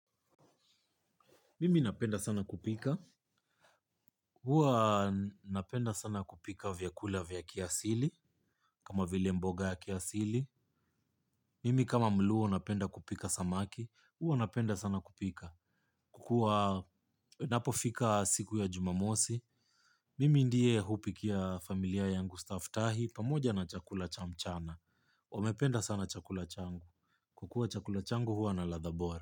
Mimi napenda sana kupika, huwa napenda sana kupika vyakula vya kiasili, kama vile mboga ya kiasili. Mimi kama mluo napenda kupika samaki, huwa napenda sana kupika. Kuwa, inapofika siku ya jumamosi, mimi ndiye hupikia familia yangu, staftahi, pamoja na chakula cha mchana. Wamependa sana chakula changu, kukula chakula changu huwa na ladha bora.